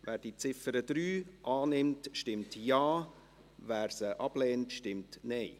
Wer die Ziffer 3 annimmt, stimmt Ja, wer sie ablehnt, stimmt Nein.